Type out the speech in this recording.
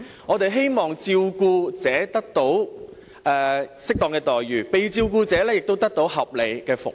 我們希望照顧者得到適當的待遇，被照顧者亦得到合理的服務。